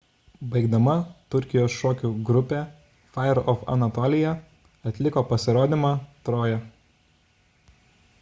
baigdama turkijos šokių grupė fire of anatolia atliko pasirodymą troja